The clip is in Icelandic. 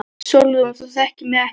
SÓLRÚN: Þú þekkir mig ekki neitt.